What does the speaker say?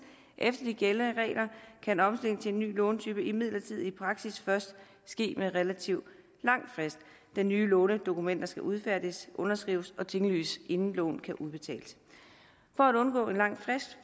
efter de gældende regler kan omstilling til en ny lånetype imidlertid i praksis først ske med relativt lang frist da nye lånedokumenter skal udfærdiges underskrives og tinglyses inden lånet kan udbetales for at undgå en lang frist